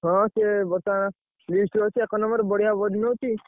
ହଁ ସେ ବତା least ଅଛି ଏକ number ବଢିଆ ବନଉଛି।